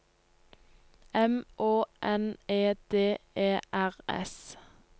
M Å N E D E R S